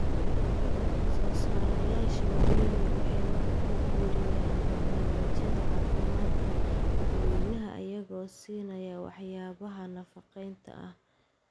Soosaarayaasha waaweyni waxay wax ku biiriyaan barnaamijyada caafimaadka dadweynaha iyagoo siinaya waxyaabaha nafaqeynta ah.